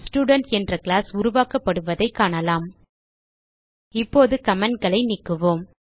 student என்ற class உருவாக்கப்படுவதைக் காணலாம் இப்போது commentகளை நீக்குவோம்